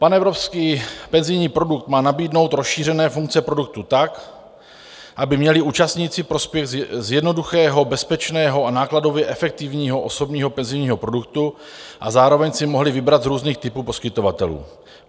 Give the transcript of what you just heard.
Panevropský penzijní produkt má nabídnout rozšířené funkce produktu tak, aby měli účastníci prospěch z jednoduchého, bezpečného a nákladově efektivního osobního penzijního produktu a zároveň si mohli vybrat z různých typů poskytovatelů.